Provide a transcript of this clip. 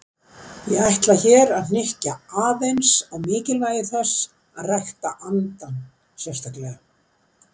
Ég ætla hér að hnykkja aðeins á mikilvægi þess að rækta andann sérstaklega.